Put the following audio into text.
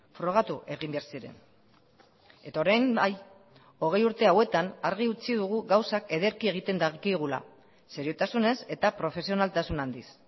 frogatu egin behar ziren eta orain bai hogei urte hauetan argi utzi dugu gauzak ederki egiten dakigula seriotasunez eta profesionaltasun handiz